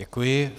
Děkuji.